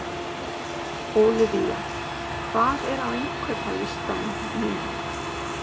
Ólivía, hvað er á innkaupalistanum mínum?